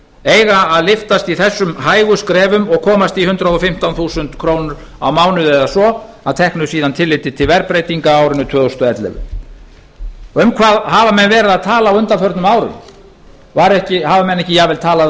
eiga að lyftast í þessum hægu skrefum og komast í hundrað og fimmtán þúsund krónur á mánuði eða svo að teknu síðan tilliti til verðbreytinga á árinu tvö þúsund og ellefu um hvað hafa menn verið að tala á undanförnum árum hafa menn ekki jafnvel talað um